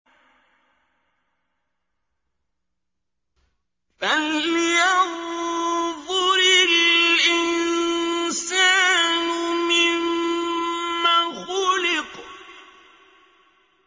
فَلْيَنظُرِ الْإِنسَانُ مِمَّ خُلِقَ